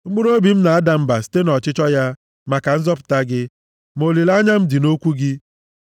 Mkpụrụobi m na-ada mba site nʼọchịchọ ya maka nzọpụta gị, ma olileanya m dị nʼokwu gị.